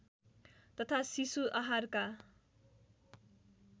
तथा शिशु आहारका